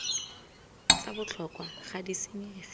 tsa botlhokwa ga di senyege